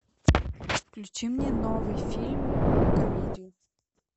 включи мне новый фильм комедию